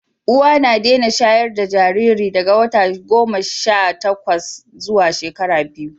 uwa na Dena shayarda Jariri daga wata goma Sha takwas zuwa shekara biyu